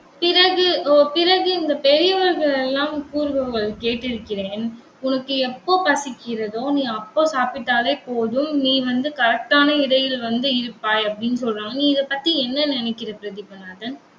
பிறகு, ஓ பிறகு இந்த பெரியவர்கள் எல்லாம் கூறுபவர்கள் கேட்டிருக்கிறேன் உனக்கு எப்போ பசிக்கிறதோ நீ அப்போ சாப்பிட்டாலே போதும், நீ வந்து correct ஆன எடையில் வந்து இருப்பாய், அப்படின்னு சொல்றாங்க. நீ இதைப்பத்தி என்ன நினைக்கிற பிரதீபநாதன்?